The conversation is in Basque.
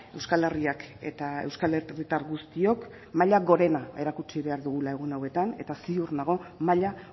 euskal herriak eta euskal herritar guztiok maila gorena erakutsi behar dugula egun hauetan eta ziur nago maila